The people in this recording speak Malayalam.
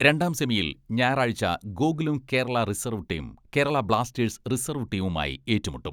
രണ്ടാം സെമിയിൽ ഞായറാഴ്ച്ച Gokulam Kerala reserve team, Kerala Blasters reserve ടീമുമായി ഏറ്റുമുട്ടും.